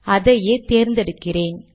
அதையே தேர்ந்தெடுக்கிறேன்